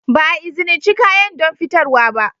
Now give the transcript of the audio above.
Ba a izinice kayan don fitarwa ba.